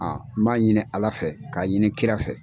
n b'a ɲini Ala fɛ k'a ɲini kira fɛ.